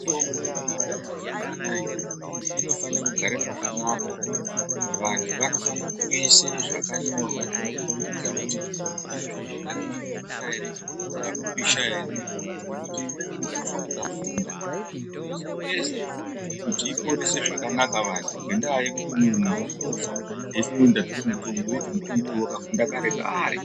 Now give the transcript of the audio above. Mitombo inobude mazuwa anaa inofanire kugare pakanaka. Vantu vanofanire kuise zvakanyorwa zvinokhombidza kuti inofanire kugare panotonhorera ere panopisha ere ngekuti imweni mitombo ikavhunda inozonesa kuti porese zvakanaka vantu ngendaa yekuti muntu unofa eifunga kuti ndapuwa mutombo iwo wakavhunda kare kare.